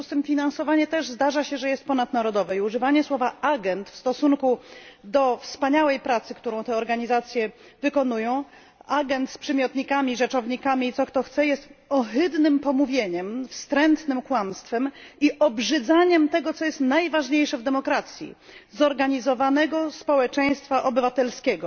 W związku z tym zdarza się też, że finansowanie jest ponadnarodowe, i używanie słowa agent w stosunku do wspaniałej pracy, którą te organizacje wykonują, agent z przymiotnikami i rzeczownikami i co kto chce, jest ohydnym pomówieniem, wstrętnym kłamstwem i obrzydzaniem tego, co jest najważniejsze w demokracji zorganizowanego społeczeństwa obywatelskiego.